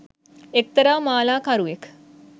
එක්තරා මාලාකරුවෙක්